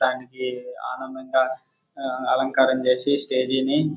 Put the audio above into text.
దానికి ఆనందం గా ఆ అలంకరణ చేసి స్టేజి ని--